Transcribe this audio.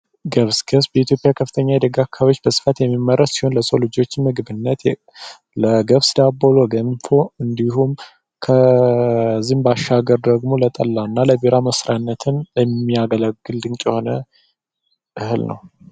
ኢትዮጵያ ከፍተኛ አካባቢዎች በብዛት የሚመረጥ ለሰው ልጆች ምግብነት ለገብስ ዳቦ ለገንፎ እንዲሁም ከዚህም ባሻገር ደግሞ ለጠላ እና ለቢራ መስሪያ የሚያገለግል ድንቅ የሆነ እህል ነው።